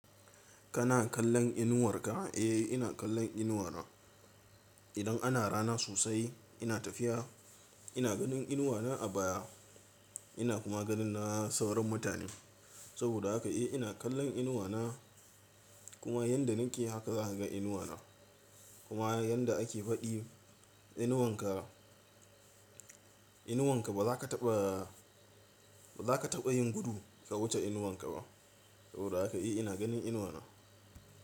Kana kallon inuwarka? Eh, ina kallon inuwa na. Idan ana rana sosai, ina tafiya, ina ganin inuwa na a baya. Ina kuma ganin na sauran mutane. Saboda haka eh ina kallon inuwa na. Kuma yadda nake haka za ka ga inuwa na. Kuma yadda ake faɗi, inuwanka ba za ka taɓa, ba za ka taɓa yin gudu ka wuce inuwanka ba. Saboda haka eh ina ganin inuwa na.